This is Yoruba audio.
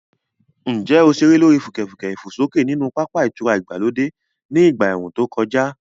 Ǹjẹ́ o ṣeré lórí fùkẹ̀fùkẹ̀ ìfòsókè nínú pápá ìtura ìgbàlódé ní ìgbà ẹ̀ẹ̀rùn tó kọjá?